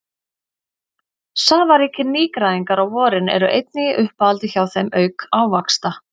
Safaríkir nýgræðingar á vorin eru einnig í uppáhaldi hjá þeim auk ávaxta.